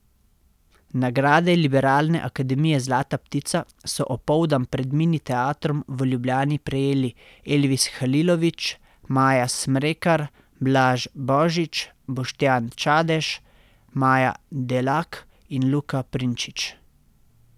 Nagrade Liberalne akademije zlata ptica so opoldan pred Mini teatrom v Ljubljani prejeli Elvis Halilović, Maja Smrekar, Blaž Božič, Boštjan Čadež, Maja Delak in Luka Prinčič.